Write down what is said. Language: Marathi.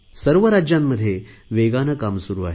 सर्वच राज्यांमध्ये वेगाने काम सुरु आहे